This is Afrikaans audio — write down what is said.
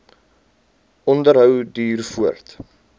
onderhou duur voort